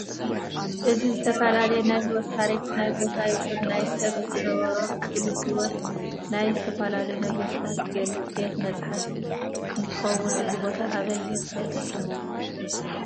እዚ ዝተፈላላዩ ናይ ሂወት ታሪክ ናይ ቦታ ይኩን ናይ ሰብ ዝነበሮም ሕልፍ ሂወት ናይ ዝተፈላለዩ ነገስታት ዝገልፅ ቤተ መፃሐፍት እንትከውን እዚ ቦታ ኣበይ ይርከብ ይመስለኩም?